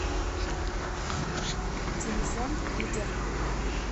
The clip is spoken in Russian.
телефон лидер